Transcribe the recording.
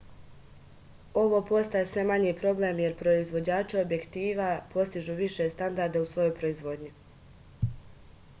ovo postaje sve manji problem jer proivođači objektiva postižu više standarde u svojoj proizvodnji